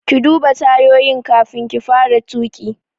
Ki duba tayoyi kafin ki fara tuƙi!